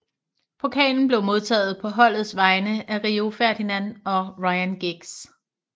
Pokalen blev modtaget på holdets vegne af Rio Ferdinand og Ryan Giggs